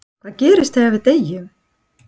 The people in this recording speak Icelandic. En hvað gerist þegar við deyjum?